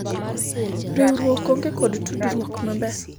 riwruok onge kod tudruok maber